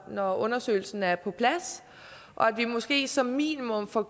når undersøgelsen er på plads og at vi måske som minimum får